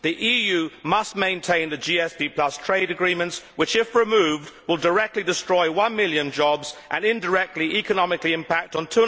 The EU must maintain the GSP trade agreements which, if removed, will directly destroy one million jobs and indirectly economically impact on